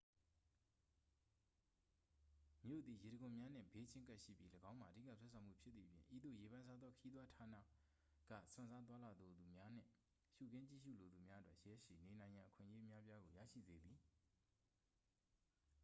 မြို့သည် ရေတံခွန်များနှင့် ဘေးချင်းကပ်ရှိပြီး ၎င်းမှာ အဓိက ဆွဲဆောင်မှုဖြစ်သည့်အပြင် ဤသို့ ရေပန်းစားသော ခရီးသွားဌာနေက စွန့်စားသွားလာလိုသူများနှင့် ရှုခင်းကြည့်ရှုလိုသူများအတွက် ရက်ရှည်နေနိုင်ရန် အခွင့်အရေး အများအပြားကို ရရှိစေသည်